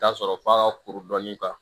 Taa sɔrɔ f'a ka kuru dɔɔni k'a kan